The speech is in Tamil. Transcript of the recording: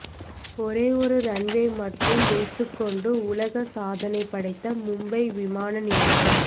ஒரே ஒரு ரன்வே மட்டும் வைத்துக் கொண்டு உலக சாதனை படைத்த மும்பை விமான நிலையம்